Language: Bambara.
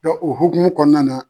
Dɔn o hukumu kɔnɔna na